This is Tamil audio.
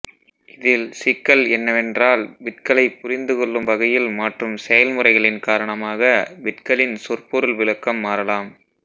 இதில் சிக்கல் என்னவென்றால் பிட்களை புரிந்துகொள்ளும் வகையில் மாற்றும் செயல்முறைகளின் காரணமாக பிட்களின் சொற்பொருள் விளக்கம் மாறலாம்